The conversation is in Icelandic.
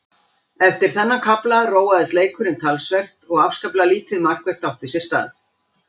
Eftir þennan kafla róaðist leikurinn talsvert og afskaplega lítið markvert átti sér stað.